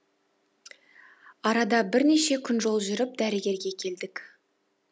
арада бірнеше күн жол жүріп дәрігерге келдік